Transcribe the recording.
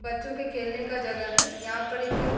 बच्चों के खेलने का जगह हैं यहाँ पर एक --